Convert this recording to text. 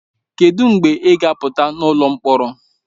Kedụ mgbe ị ga apụta n'ụlọ mkpọrọ?